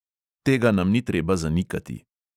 Tega nam ni treba zanikati.